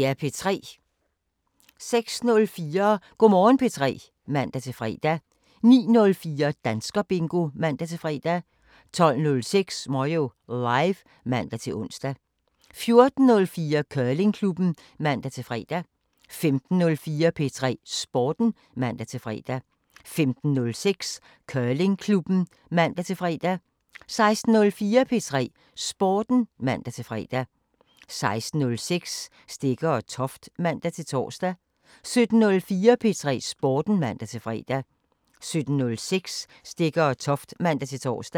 06:04: Go' Morgen P3 (man-fre) 09:04: Danskerbingo (man-fre) 12:05: Moyo Live (man-ons) 14:04: Curlingklubben (man-fre) 15:04: P3 Sporten (man-fre) 15:06: Curlingklubben (man-fre) 16:04: P3 Sporten (man-fre) 16:06: Stegger & Toft (man-tor) 17:04: P3 Sporten (man-fre) 17:06: Stegger & Toft (man-tor)